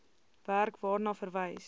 werk waarna verwys